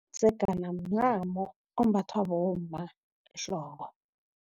Umdzegana mncamo ombathwa bomma ehloko.